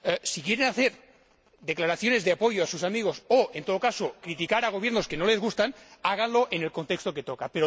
Si quieren hacer declaraciones de apoyo a sus amigos o, en todo caso, criticar a gobiernos que no les gustan, háganlo en el contexto que toca.